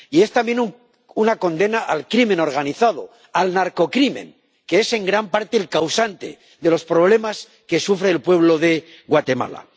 Y es, también, una condena al crimen organizado, al narcocrimen, que es en gran parte el causante de los problemas que sufre el pueblo de Guatemala.